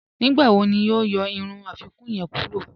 Nígbàwò ni o yọ irun afikuǹ yẹń kúrọ̀?